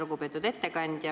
Lugupeetud ettekandja!